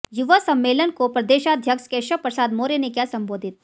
युवा सम्मेलन को प्रदेशाध्यक्ष केशव प्रसाद मौर्य ने किया संबोधित